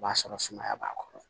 O b'a sɔrɔ sumaya b'a kɔrɔ